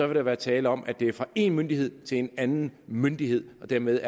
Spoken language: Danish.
der være tale om at det sker fra en myndighed til en anden myndighed og dermed